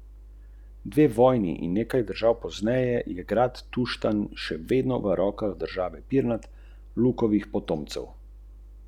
Slovenski reprezentant je igral deset minut, v tem času pa je dosegel točko in imel podajo.